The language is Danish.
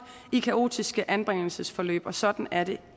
i kaotiske anbringelsesforløb og sådan er det